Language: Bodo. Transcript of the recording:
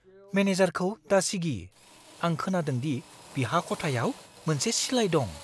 मेनेजारखौ दासिगि। आं खोनादोंदि बिहा खथायाव मोनसे सिलाइ दं।